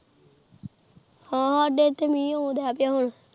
ਹਨ ਸਾਡੇ ਇੱਥੇ ਮਹਿ ਆਉਣ ਦੇ ਪਿਆ ਹੁਣ